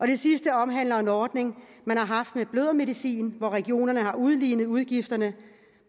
det sidste omhandler en ordning man har haft om blødermedicin hvor regionerne har udlignet udgifterne